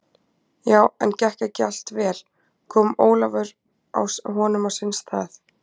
Já, en gekk ekki allt vel, kom Ólafur honum á sinn stað?